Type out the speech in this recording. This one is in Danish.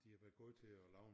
De har været gode til at lave